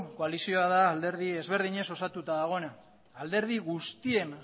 koalizioa da alderdi ezberdinez osatuta dagoena alderdi guztien